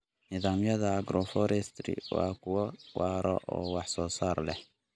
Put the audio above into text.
Nidaamyada Agroforestry waa kuwo waara oo wax soo saar leh.